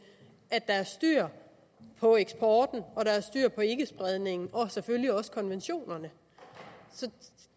at der er styr på eksporten og der er styr på ikkespredning og selvfølgelig også konventionerne